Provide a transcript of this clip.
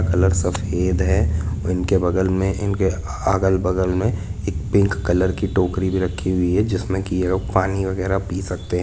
Colour सफ़ेद है और इनके बगल में इनके अगल बगल में एक पिंक कलर की टोकरी भी रखी हुई है जिसमें की ये लोग पानी वगेरा पी सकते है।